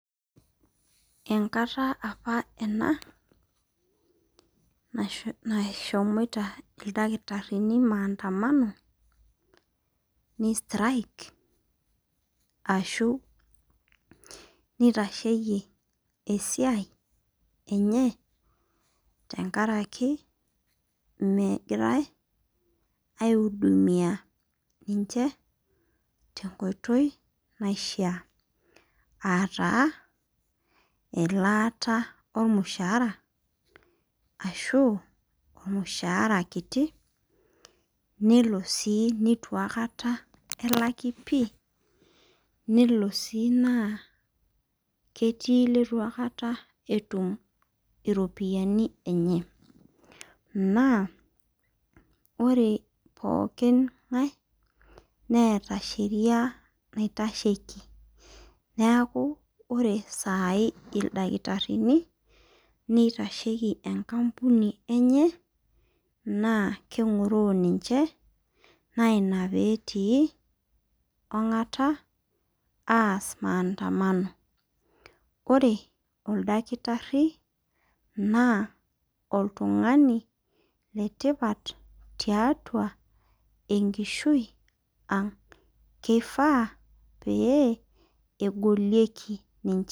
Enkata apa ena nasho nashomoita ildakitarrini maandamano nei strike ashu nitasheyie esiai enye tenkaraki megirae aeudumia ninche tenkoitoi naishia ataa elaata ormushaara ashu ormushaara kiti nelo sii nitu aikata elaki pii nelo sii naa ketii iletu akata etum iropiyiani enye naa ore pookin ng'ae neeta sheria naitasheki neaku ore sai ildakitarrini neitasheki enkampuni enye naa keng'oroo ninche naina petii ong'ata aas maandamano ore oldakitarri naa oltung'ani letipat tiatua enkishui ang keifaa pee egolieki ninche.